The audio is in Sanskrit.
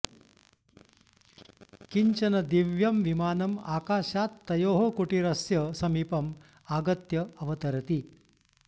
किञ्चन दिव्यं विमानम् आकाशात् तयोः कुटीरस्य समीपम् आगत्य अवतरति